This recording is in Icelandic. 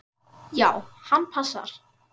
Já, hann passar.